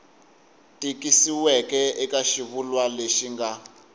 tikisiweke eka xivulwa lexi nga